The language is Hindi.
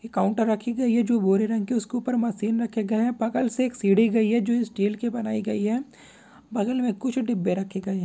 एक काउंटर रखी गई है जिस पर एक मशीन रखी है बगल से एक सीधी गई है जो स्टील की बनाई गई है बगल में कोई डब्बे रखे गए हैं।